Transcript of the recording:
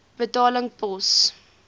betaling pos